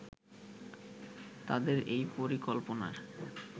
তাদের এই পরিকল্পনার